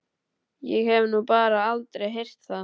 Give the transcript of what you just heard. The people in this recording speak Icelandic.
Ég hef nú bara aldrei heyrt það.